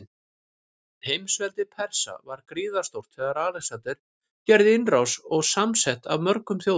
Heimsveldi Persa var gríðarstórt þegar Alexander gerði innrás, og samsett af mörgum þjóðum.